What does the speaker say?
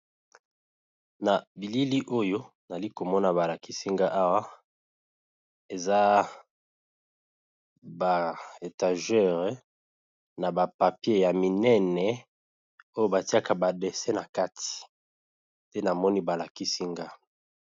na bilili oyo nali komona balakisinga awa eza ba etagere na bapapier ya minene oyo batiaka badese na kati te namoni balakisinga